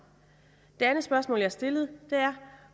det andet spørgsmål jeg stillede var